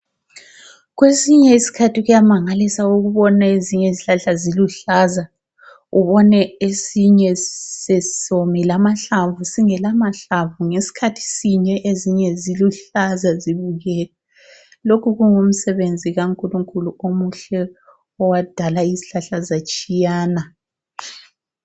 Kwesinye isikhathi kuyamangalisa ukubona ezinye izihlahla ziluhlaza, ubone esinye sesomile amahlamvu, singelamahlamvu ngesikhathi sinye ezinye ziluhlaza. Lokhu kungumsebenzi kaNkulunkulu omuhle owadala izihlahla zatshiyana.